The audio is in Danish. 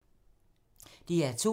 DR2